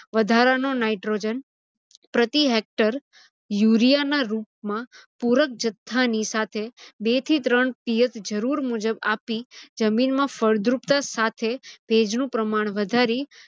વધારાનો nitrogen પ્રતિ hector urea ના રુપમાં પુરક જથ્થાની સાથે બે થી ત્રણ પિયત જરુર મુજબ આપી જમીનમાં ફળદ્રુપતા સાથે ભેજનું પ્રમાણ વધાર